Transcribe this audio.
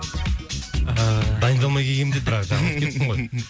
ыыы дайындалмай келгем деп бірақ жаңа айтқан екенсің ғой